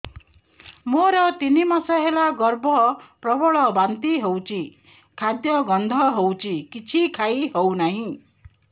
ମୋର ତିନି ମାସ ହେଲା ଗର୍ଭ ପ୍ରବଳ ବାନ୍ତି ହଉଚି ଖାଦ୍ୟ ଗନ୍ଧ ହଉଚି କିଛି ଖାଇ ହଉନାହିଁ